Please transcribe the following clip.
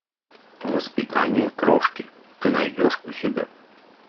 воспитание крошки ты найдешь у себя